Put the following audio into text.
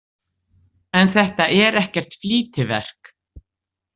En þetta er ekkert flýtiverk.